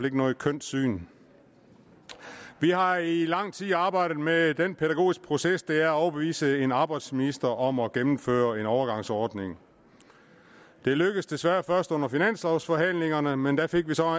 ikke noget kønt syn vi har i lang tid arbejdet med den pædagogiske proces det er at overbevise en arbejdsminister om at gennemføre en overgangsordning det lykkedes desværre først under finanslovforhandlingerne men der fik vi så